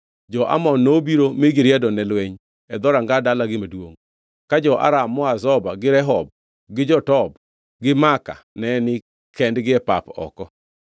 Jo-Amon nobiro mi giriedo ne lweny e dhoranga dalagi maduongʼ, ka jo-Aram moa Zoba gi Rehob gi jo-Tob gi Maaka ne nikendgi e pap oko.